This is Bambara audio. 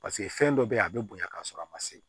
Paseke fɛn dɔ be yen a be bonya k'a sɔrɔ a ma se